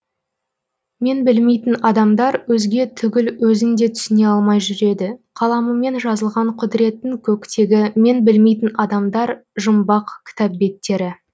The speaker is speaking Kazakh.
мен білмейтін адамдар өзге түгіл өзін де түсіне алмай жүреді қаламымен жазылған құдіреттің көктегі мен білмейтін адамдар жұмбақ кітап беттері